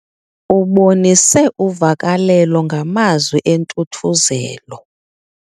Ubonise uvakalelo ngamazwi entuthuzelo.